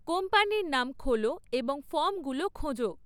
কোম্পানির নাম খোলো এবং ফর্মগুলো খোঁজো